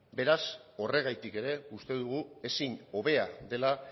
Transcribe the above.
beraz horregatik ere uste dugu ezin hobea dela